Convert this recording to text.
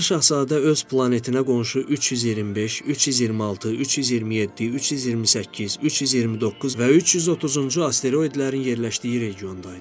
Balaca Şahzadə öz planetinə qonşu 325, 326, 327, 328, 329 və 330-cu asteroidlərin yerləşdiyi regiondaydı.